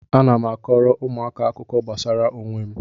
Ana m akọọrọ ụmụaka akụkọ gbasara onwe m